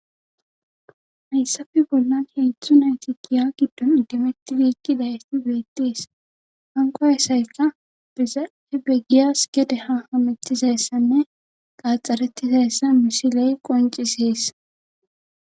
hayssafe bollan heezdzdu nayti giya giddon iddimettidi eqidayss beettes hanko asaykka beizai beggiyas gede ha hametiseessanne qaaxxarettizayissa misiley qonciseessa